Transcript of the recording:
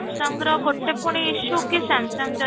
sung ର ଗୋଟେ ପୁଣି issue କି Samsung ଯଦି